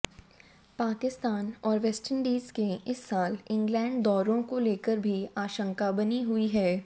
पाकिस्तान और वेस्टइंडीज के इस साल इंग्लैंड दौरों को लेकर भी आशंका बनी हुई है